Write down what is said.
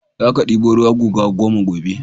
Za ka ɗebo ruwa guga goma gobe!